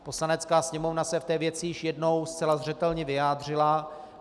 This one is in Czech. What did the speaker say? Poslanecká sněmovna se v té věci již jednou zcela zřetelně vyjádřila.